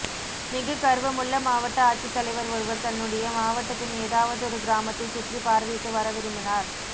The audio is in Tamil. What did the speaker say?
மிககர்வமுள்ள மாவட்ட ஆட்சித்தலைவர் ஒருவர் தன்னுடைய மாவட்டத்தின் ஏதாவதொரு கிராமத்தை சுற்றி பார்வையிட்டு வர விரும்பினார்